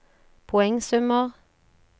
poengsummer